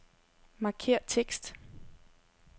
Markér tekst.